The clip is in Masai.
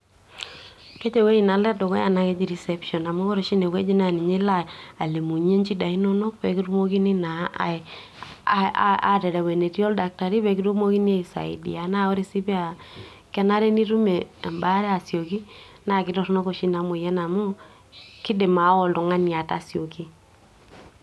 keji ewueji nalo edukuya naa keji reception amu ore oshi ine wueji naa ninye ilo alimunyie inchida inonok pekitumokini naa aterew enetii oldaktari pekitumokini aisaidia naa ore sii paa kenare nitum embaare asioki naa kitorronok oshi ina moyian amu kidim aawa ooltung'ani atasioki.